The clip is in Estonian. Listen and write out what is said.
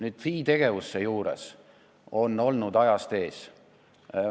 FI tegevus seejuures on olnud ajast ees.